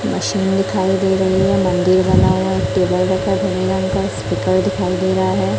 Machine दिखाई दे रही है मंदिर बना हुआ है टेबल का स्पीकर दिखाई दे रहा है।